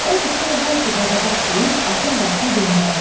Odur ki, hər ciba dadabad deyib atın başını döndərdi.